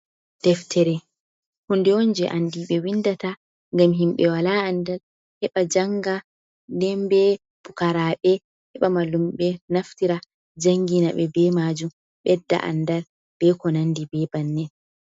Deftere hunde on je andiɓe windata ngam himɓe wala andal heɓa janga. Nden be pukaraɓe heɓa mallum'en naftira jangina be majum ɓedda andal be ko nandi be bannin.